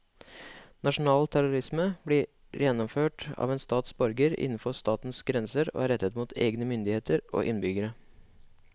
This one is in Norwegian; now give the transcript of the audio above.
Nasjonal terrorisme blir gjennomført av en stats borgere innenfor statens grenser og er rettet mot egne myndigheter og innbyggere.